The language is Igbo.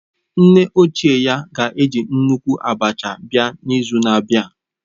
Nne ochie ya ga-eji nnukwu abacha abịa n'izu na-abịa